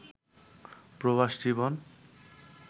প্রবাস জীবন